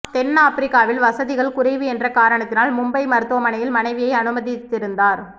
தென் ஆப்பிரிக்காவில் வசதிகள் குறைவு என்ற காரணத்தினால் மும்பை மருத்துவமனையில் மனைவியை அனுமதித்திருந்தார்